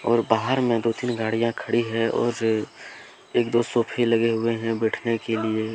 और बाहर में दो तीन गाड़ियां खड़ी हैऔर ए एक दो सोफे लगे हुए हैंबैठने के लिए--